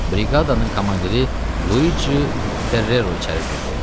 Briqadanın komandiri Luiçi Ferrero içəri girdi.